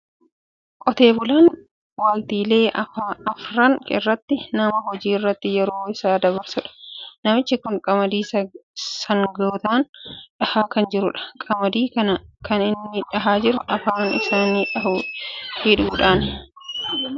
Qotee bulaan waqtiilee arfan irratti nama hojii irratti yeroo isaa dabarsudha. Namichi kun qamadii sangootaan dhahaa kan jirudha. Qamadii kana kan inni dhahaa jiru afaan isaanii hidhuudhaanidha. Kunis akka isaan hin nyaanneefidha.